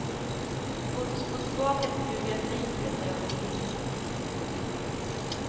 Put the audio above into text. Låt oss gå tillbaka till biografin för ett ögonblick. punkt